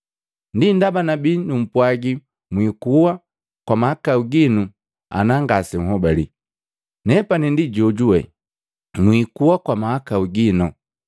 Ndi ndaba nabii numpwaji mwikuwa kwa mahakau gino ana ngasenhobale, ‘Nepani ndi Jojuwe.’ Mwikuwa kwa mahakau gino.”